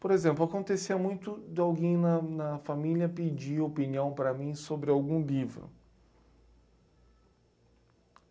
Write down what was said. Por exemplo, acontecia muito de alguém na na família pedir opinião para mim sobre algum livro.